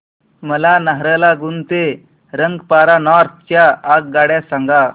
मला नाहरलागुन ते रंगपारा नॉर्थ च्या आगगाड्या सांगा